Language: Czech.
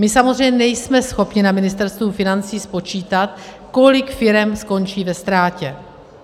My samozřejmě nejsme schopni na Ministerstvu financí spočítat, kolik firem skončí ve ztrátě.